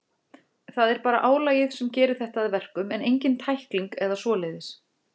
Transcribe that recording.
Það er bara álagið sem gerir þetta að verkum, en engin tækling eða svoleiðis.